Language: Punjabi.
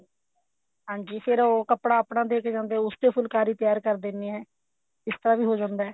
ਹਾਂਜੀ ਫੇਰ ਉਹ ਕੱਪੜਾ ਆਪਣਾ ਦੇਕੇ ਜਾਂਦੇ ਹੈ ਉਸ ਚ ਫੁਲਕਾਰੀ ਤਿਆਰ ਕਰ ਦਿੰਦੇ ਆ ਇਸ ਤਰ੍ਹਾਂ ਵੀ ਹੋ ਜਾਂਦਾ ਹੈ